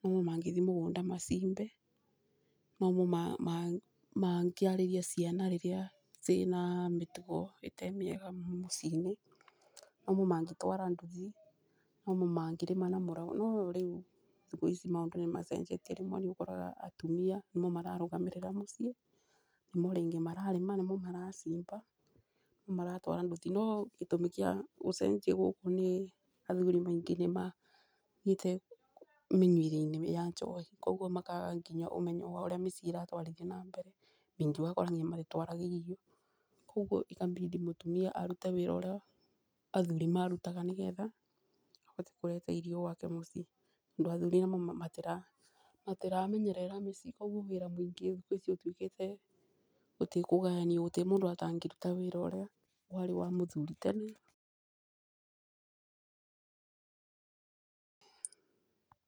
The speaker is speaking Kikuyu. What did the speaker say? nomo mangĩthi mũgũnda macimbe , nomo mangĩarĩirie ciana rĩrĩa ciĩna mĩtugo ĩtee mĩega mũciĩ-inĩ, nomo mangĩtwara nduthi, nomo mangĩrĩma na mũraũ. No rĩu thikũ ici maũndũ nĩ macenjetie rĩmwe nĩ ũkoraga atumia nĩmo mararũgamĩrĩra mũciĩ, nĩmo rĩngĩ mararĩma, nĩmo maracimba nĩmo maratwara nduthi. No gĩtũmi gĩa gũcenjie gũkũ nĩ athuri maingĩ nĩ mathire mĩnyuĩre-inĩ ya njobi koguo makaga nginya ũmenyo wa ũrĩa mĩciĩ ĩratwarithio na mbere. Ningĩ ũgakora nginya magĩtwara thigi, koguo ũgakora ĩkabindi mũtumia arute wĩra ũrĩa athuri marutaga, nĩgetha abote kũrebe irio gwake mũciĩ ũndũ athuri amwe matiramenyerera mĩciĩ. Koguo wĩra mũingĩ thikũ ici ũtuĩkĩte gũtirĩ kũgayanio, gũtirĩ mũndũ atangĩruta wĩra ũrĩa warĩ wa mũthuri tene.